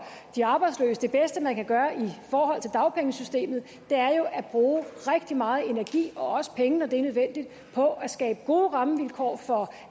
de arbejdsløse det bedste man kan gøre i forhold til dagpengesystemet er jo at bruge rigtig meget energi og også penge når det er nødvendigt på at skabe gode rammevilkår for